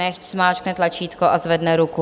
Nechť zmáčkne tlačítko a zvedne ruku.